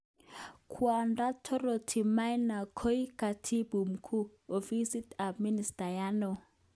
Kwondo Dorothy Maina koik Katibu Mkuu, Ofist ab ministayat neo.